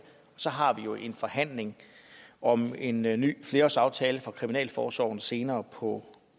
så har vi jo en forhandling om en en ny flerårsaftale for kriminalforsorgen senere på